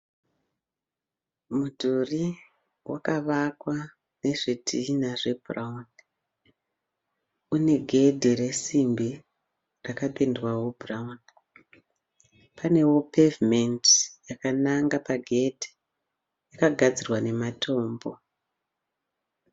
Mudhuri wakavakwa nezvidhinha zvebhurawuni. Une gedhi resimbi rakapendwawo bhurawuni. Panewo pevhumendi yakananga pagedhi. Yakagadzirwa nematombo.